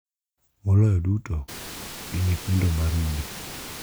Moloyo duto, gi nyithindo ma rude.